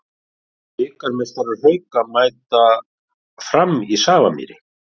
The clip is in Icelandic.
Bikarmeistarar Hauka mæta Fram í Safamýri